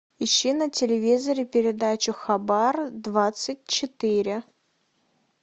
ищи на телевизоре передачу хабар двадцать четыре